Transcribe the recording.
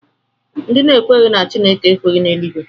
Ndị na-ekweghị na Chineke ekweghị na Eluigwe